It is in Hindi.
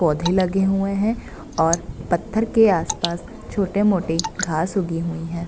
पौधे लगे हुए है और पत्थर के आस-पास छोटे-मोटे घास उगी हुई है।